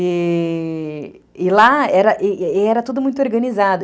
E lá era e era tudo muito organizado.